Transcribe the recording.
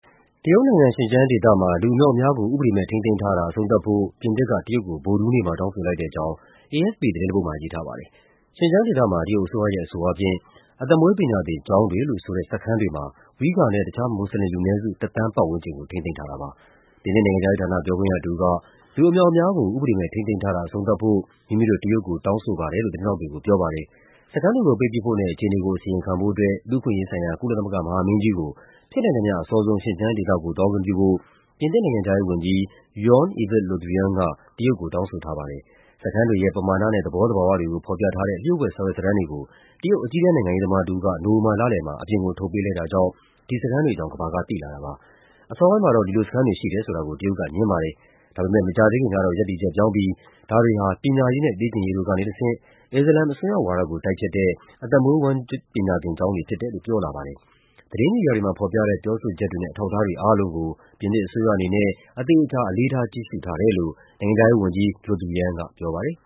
တရုတ်နိုင်ငံ၊ ရှင်ကျန်းဒေသမှာ လူအမြောက်အမြား ကို ဥပဒေမဲ့ ထိန်းသိမ်းထားတာ အဆုံးသတ်ဖို့ ပြင်သစ်က တရုတ်ကို ဗုဒ္ဓဟူး နေ့မှာ တောင်းဆိုလိုက်ပါတယ်။ ရှင်ကျန်းဒေသမှာ တရုတ်အစိုးရရဲ့ အဆိုအားဖြင့် အသက်မွေး ပညာသင်ကျောင်းတွေလို့ ဆိုတဲ့ စခန်းတွေမှာ Uighur နဲ့ တခြား မွတ်ဆလင်လူနည်းစု တသန်းပတ်ဝန်းကျင်ကို ထိန်းသိမ်းထားတာပါ။ ပြင်သစ်နိုင်ငံခြားရေးဌာန ပြောခွင့်ရတဦးက “လူအမြောက်အမြားကို ဥပဒေမဲ့ ထိန်းသိမ်းထားတာ အဆုံးသတ်ဖို့ မိမိတို့ တရုတ်ကို တောင်းဆိုပါတယ်” လို့ သတင်းထောက်တွေကို ပြောပါတယ်။ စခန်းတွေကို ပိတ်ပစ်ဖို့နဲ့ အခြေအနေကို အစီရင်ခံဖို့ အတွက် လူ့အခွင့်အရေးဆိုင်ရာ ကုလသမဂ္ဂ မဟာမင်းကြီးကို ဖြစ်နိုင်သမျှ အစောဆုံး ရှင်ကျန်းဒေသကို သွားခွင့်ပြုဖို့ ပြင်သစ်နိုင်ငံခြားရေးဝန်ကြီး Jean-Yves Le Drian က တရုတ်ကို တောင်းဆိုထားပါ တယ်။ စခန်းတွေရဲ့ ပမာဏနဲ့ သဘောသဘာဝတွေကို ဖော်ပြထားတဲ့ လျှို့ဝှက်စာရွက်စာတမ်းတွေကို တရုတ် အကြီးတန်းနိုင်ငံရေး သမားတဦးက နိုဝင်ဘာလလယ်မှာ အပြင်ကိုထုတ်ပေးလိုက်တာကြောင့် ဒီစခန်းတွေအကြောင်း ကမ္ဘာက သိလာတာပါ။ အစောပိုင်းမှာတော့ ဒီလိုစခန်းတွေ ရှိတယ်ဆိုတာကို တရုတ်က ငြင်းခဲ့ပါတယ်။ ဒါပေမယ့် မကြာသေးခင်ကတော့ ရပ်တည်ချက် ပြောင်းပြီး ဒါတွေဟာ ပညာရေးနဲ့ လေ့ကျင့်ရေးတို့ကနေတဆင့် အစ္စလာမ် အစွန်းရောက်ဝါဒကို တိုက်ဖျက်တဲ့ အသက်မွေး ပညာ သင်ကျောင်းတွေဖြစ်တယ်လို့ ပြောလာပါတယ်။ သတင်းမီဒီယာတွေမှာ ဖော်ပြတဲ့ ပြောဆိုချက်တွေနဲ့ အထောက်အထားတွေ အားလုံးကို ပြင်သစ်အစိုးရအနေနဲ့ အသေအချာ အလေးထား ကြည့်ရှုနေတယ်လို့ နိုင်ငံခြားရေးဝန်ကြီး Le Drian ကပြောပါတယ်